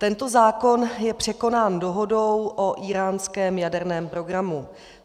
Tento zákon je překonán dohodou o íránském jaderném programu.